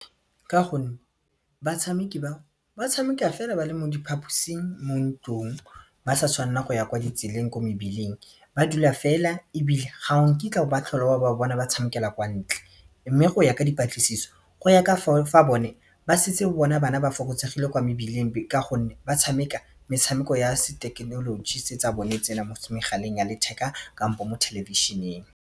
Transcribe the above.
Ka gonne batshameki ba, ba tshameka fela ba le mo diphaposing mo ntlong ba sa tshwanela go ya kwa ditseleng ko mebileng ba dula fela ebile ga nkitla oka tlhola o ba bona ba tshamekela kwa ntle mme go ya ka dipatlisiso go ya ka bone ba setse ba bona bana ba fokotsegile kwa mebileng ka gonne ba tshameka metshameko ya se thekenoloji tse tsa bone tse mo megaleng ya letheka kampo mo thelebišining.